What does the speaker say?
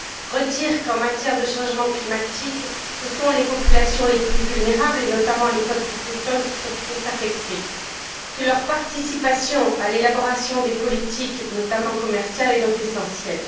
Je tiens à redire qu'en matière de changements climatiques, ce sont les populations les plus vulnérables, et notamment les peuples autochtones, qui sont affectées et que leur participation à l'élaboration des politiques, notamment commerciales, est donc essentielle.